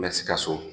Mɛ sikaso